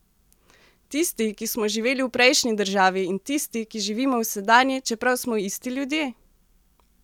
Tisti, ki smo živeli v prejšnji državi, in tisti, ki živimo v sedanji, čeprav smo isti ljudje?